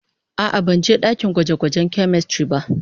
A'a, ban je dakin gwaje-gwajen "chemistry" ba.